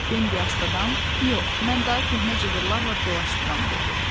Bambi astadan, yox, mən daha köhnə cığırlarla dolaşmıram dedi.